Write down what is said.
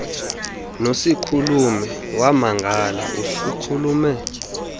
nosikhulume wamangala usikhulume